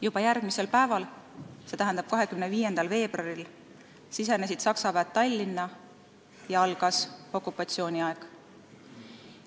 Juba järgmisel päeval, 25. veebruaril sisenesid Saksa väed Tallinna ja algas okupatsiooniaeg.